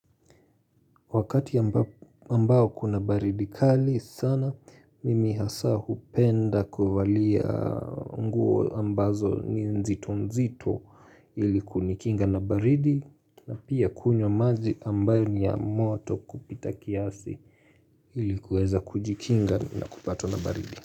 Wakati ambao kuna baridi kali sana mimi hasa hupenda kuvalia nguo ambazo ni nzito nzito iliku nikinga na baridi na pia kunywa maji ambayo ni ya moto kupita kiasi ilikuweza kujikinga na kupatwa na baridi.